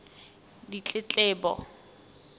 ditletlebo